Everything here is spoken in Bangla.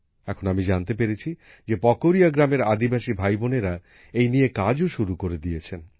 এখন আমি জানতে পেরেছি যে পকরিয়া গ্রামের আদিবাসী ভাইবোনেরা এই নিয়ে কাজও শুরু করে দিয়েছেন